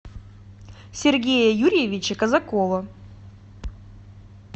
сергея юрьевича казакова